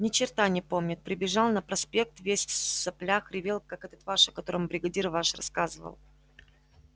ни черта не помнит прибежал на проспект весь в соплях ревел как этот ваш о котором бригадир ваш рассказывал